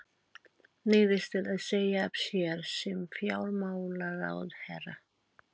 Neyðist til að segja af sér sem fjármálaráðherra.